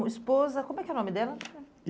Tua esposa, como é que é o nome dela?